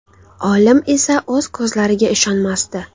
Olim esa o‘z ko‘zlariga ishonmasdi.